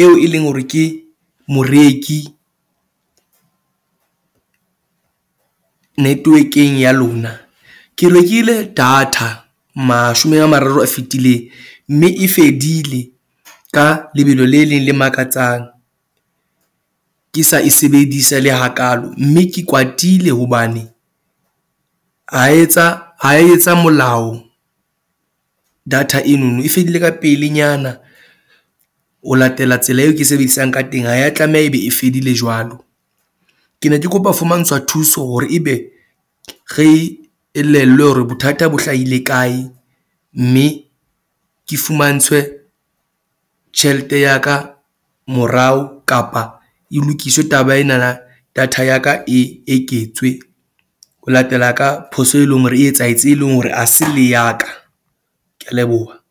eo e leng hore ke moreki network-eng ya lona. Ke rekile data mashome a mararo a fetileng mme e fedile ka lebelo le leng le makatsang ke sa e sebedisa le hakaalo. Mme ke kwatile hobane ha etsa ha etsa molao. Data eno no e fedile ka pelenyana o latela tsela eo ke e sebedisang ka teng. Ha ya tlameha ebe e fedile jwalo. Ke ne ke kopa fumantshwa thuso hore ebe re elellwe hore bothata bo hlahile kae. Mme ke fumantshwe tjhelete ya ka morao kapa e lokiswe taba ena na. Data ya ka e eketswe ho latela ka phoso, e leng hore e etsahetse, e leng hore ha se le ya ka. Ke a leboha.